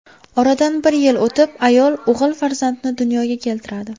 Oradan bir yil o‘tib ayol o‘g‘il farzandni dunyoga keltiradi.